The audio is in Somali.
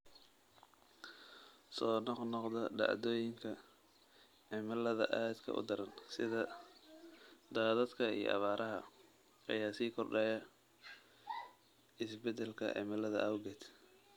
Soo noqnoqda dhacdooyinka cimilada aadka u daran, sida daadadka iyo abaaraha, ayaa sii kordhaya isbeddelka cimilada awgeed.